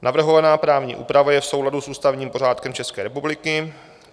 Navrhovaná právní úprava je v souladu s ústavním pořádkem České republiky.